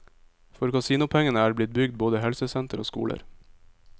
For kasinopengene er det blitt bygd både helsesenter og skoler.